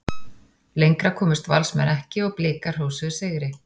Lengra komust Valsmenn ekki og Blikar hrósuðu sigri.